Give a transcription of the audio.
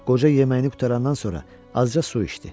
Qoca yeməyini qurtarandan sonra azca su içdi.